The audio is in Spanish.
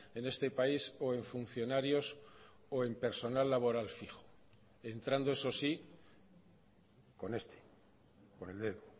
en este país o en funcionarios o en personal laboral fijo entrando eso sí con este con el dedo